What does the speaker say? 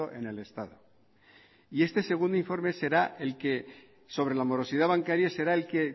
en el estado y este segundo informe será el que sobre la morosidad bancaria será el que